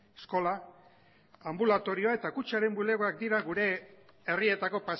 eskola anbulatorioa eta kutxaren bulegoak dira gure herrietako